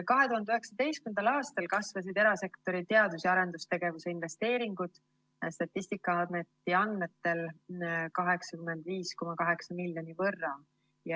2019. aastal kasvasid erasektori teadus‑ ja arendustegevuse investeeringud Statistikaameti andmetel 85,8 miljoni võrra.